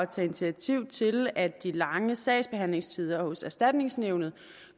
tage initiativ til at de lange sagsbehandlingstider hos erstatningsnævnet